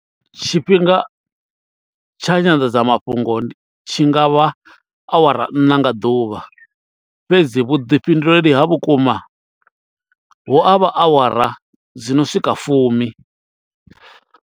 Tshifhinga tsha nyanḓadzamafhungo tshi ngavha awara ṋna nga ḓuvha fhedzi vhuḓifhinduleli ha vhukuma hu avha awara dzi no swika fumi.